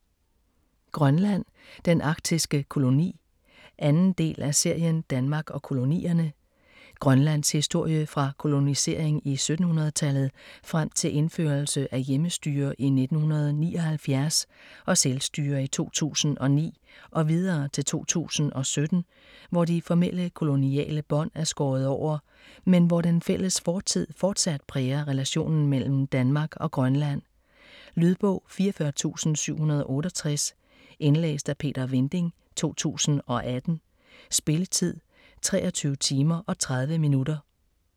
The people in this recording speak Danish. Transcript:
Grønland: den arktiske koloni 2. del af serien Danmark og kolonierne. Grønlands historie fra kolonisering i 1700-tallet frem til indførelse af hjemmestyre i 1979 og selvstyre i 2009 - og videre til 2017, hvor de formelle koloniale bånd er skåret over, men hvor den fælles fortid forsat præger relationen mellem Danmark og Grønland. Lydbog 44768 Indlæst af Peter Vinding, 2018. Spilletid: 23 timer, 30 minutter.